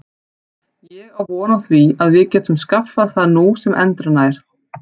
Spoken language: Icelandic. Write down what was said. Ég á von á því að við getum skaffað það nú sem endranær.